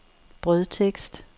brødtekst